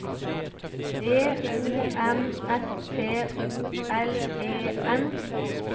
D O M S T O L E N